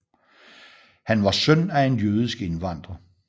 Han var søn af en jødisk indvandrer